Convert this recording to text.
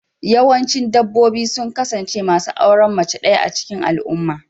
Yawancin dabbobi sun kasance masu auren mace ɗaya a cikin al'umma.